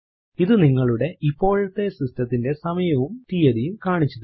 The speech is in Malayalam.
ഇത് നിങ്ങളുടെ ഇപ്പോഴത്തെ സിസ്റ്റത്തിന്റെ സമയവും തീയതിയും കാണിച്ചു തരും